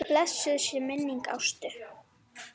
Blessuð sé minning Ástu.